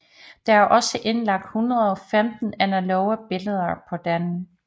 Der er også indlagt 115 analoge billeder på den